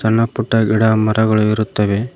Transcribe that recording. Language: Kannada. ಸಣ್ಣ ಪುಟ್ಟ ಗಿಡ ಮರಗಳು ಇರುತ್ತವೆ.